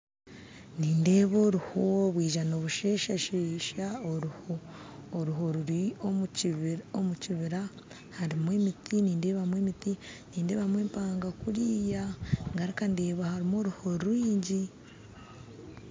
Nindeeba oruho rwija nirusheshashesha oruho oruho ruri omu kibira harimu emiti nindeebamu emiti nindeebamu empanga kuriya ngaruka ndeeba n'oruho rwingi